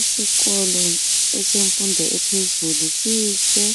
Isikolo esemfundo ephezulu sihle.